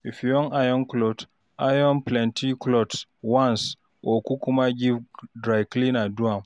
if yu wan iron clothes, iron plenty clothes once or kukuma give dry cleaner to do am